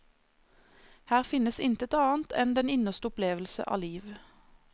Her finnes intet annet enn den innerste opplevelse av liv.